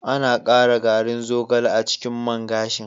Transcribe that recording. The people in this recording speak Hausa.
An ƙara garin zogale a cikin man gashin.